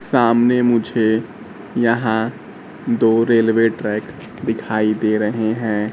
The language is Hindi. सामने मुझे यहां दो रेलवे ट्रैक दिखाई दे रहे हैं।